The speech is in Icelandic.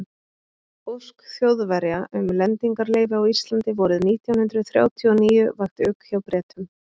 ósk þjóðverja um lendingarleyfi á íslandi vorið nítján hundrað þrjátíu og níu vakti ugg hjá bretum